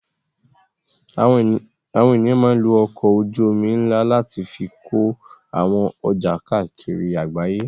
Àwọn ènìyàn máa ń lo ọkọ̀ ojú-omi ńlá láti fi kó àwọn ọjà káàkiri àgbáyé.